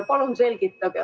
Palun selgitage.